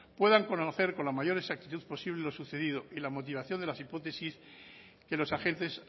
puedan conocer con la mayor exactitud posible lo sucedido y la motivación de las hipótesis que los agentes